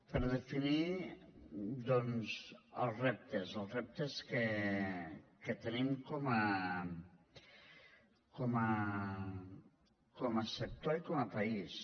per definir doncs els reptes els reptes que tenim com a sector i com a país